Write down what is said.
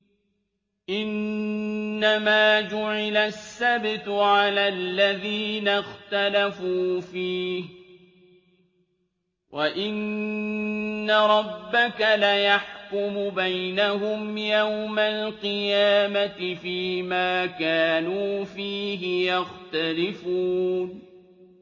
إِنَّمَا جُعِلَ السَّبْتُ عَلَى الَّذِينَ اخْتَلَفُوا فِيهِ ۚ وَإِنَّ رَبَّكَ لَيَحْكُمُ بَيْنَهُمْ يَوْمَ الْقِيَامَةِ فِيمَا كَانُوا فِيهِ يَخْتَلِفُونَ